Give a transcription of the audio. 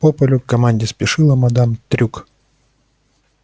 по полю к команде спешила мадам трюк